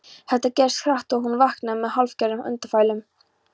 Þetta gerðist hratt og hún vaknaði með hálfgerðum andfælum.